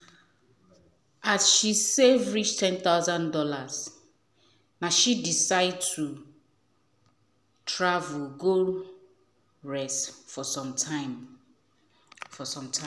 as she save reach 10000 dollars na she decide to travel go rest for some time for some time